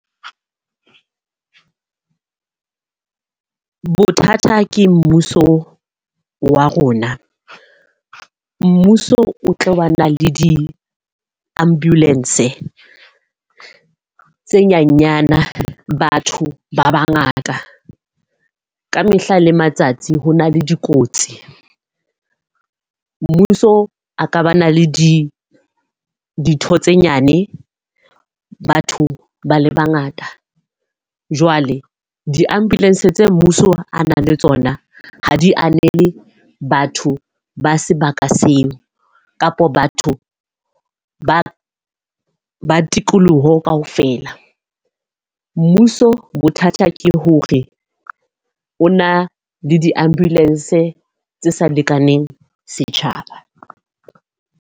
Bothata ke mmuso wa rona. Mmuso o tlo ba na le di-ambulance tse nyenyana, batho ba ba ngata. Ka mehla le matsatsi ho na le dikotsi. Mmuso a ka ba na le di ditho tse nyane, batho ba le ba ngata. Jwale di-ambulance tse mmuso a nang le tsona ha di anele batho ba sebaka seo kapa batho ba ba tikoloho ka ofela. Mmuso bothata ke hore o na le di-ambulance tse sa lekaneng setjhaba.